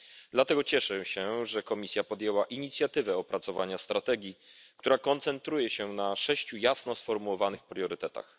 Dlatego cieszę się, że Komisja podjęła inicjatywę opracowania strategii, która koncentruje się na sześciu jasno sformułowanych priorytetach.